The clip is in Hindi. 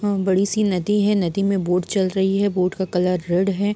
यहाँ बड़ी सी नदी है नदी में बोट चल रही है बोट का कलर रेड है।